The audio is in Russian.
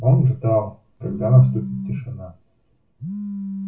он ждал когда наступит тишина